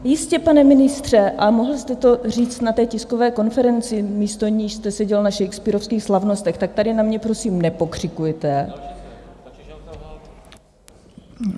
Jistě, pane ministře, ale mohl jste to říct na té tiskové konferenci, místo níž jste seděl na shakespearovských slavnostech, tak tady na mě, prosím, nepokřikujte!